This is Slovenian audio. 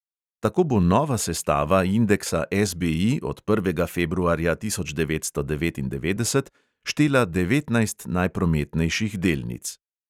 Tako bo nova sestava indeksa SBI od prvega februarja tisoč devetsto devetindevetdeset štela devetnajst najprometnejših delnic.